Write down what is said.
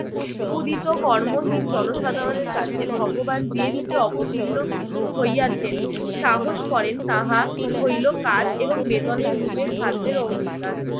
ক্ষুধিত কর্মহীন জনসাধারণের কাছে ভগবান যে রূপে অবতীর্ণ হইয়াছে সাহস করেন তাহা হইল কাজ এবং বেতন এর রূপে খাদ্যের অঙ্গীকার।